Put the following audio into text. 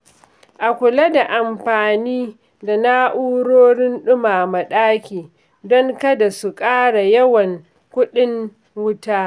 A kula da amfani da na’urorin ɗumama ɗaki don kada su ƙara yawan kuɗin wuta.